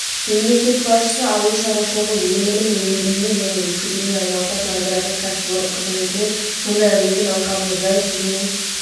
мемлекет басшысы ауыл шаруашылығы өнімін өндірумен және өткізумен айналысатын аграрлық кәсіпорын қызметімен сондай-ақ егін алқабының жай-күйімен